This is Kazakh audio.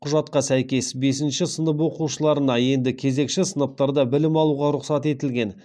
құжатқа сәйкес бесінші сынып оқушыларына енді кезекші сыныптарда білім алуға рұқсат етілген